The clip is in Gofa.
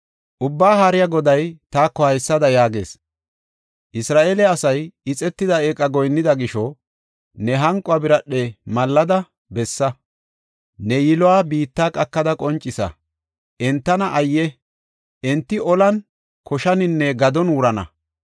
Ubbaa Haariya Goday taako haysada yaagees: “Isra7eele asaay ixetida eeqa goyinnida gisho, ne hanquwa biradhen mallada bessa; ne yiluwa biitta qakada qoncisa. Entana ayye! Enti olan, koshaninne gadon wurana.